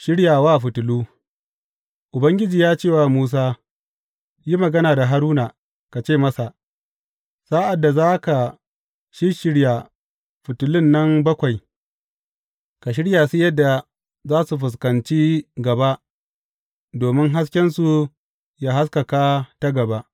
Shiryawa fitilu Ubangiji ya ce wa Musa, Yi magana da Haruna, ka ce masa, Sa’ad da za ka shisshirya fitilun nan bakwai, ka shirya su yadda za su fuskanci gaba domin haskensu yă haskaka ta gaba.’